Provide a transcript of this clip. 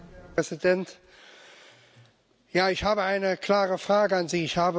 Herr Präsident! Ich habe eine klare Frage an Sie.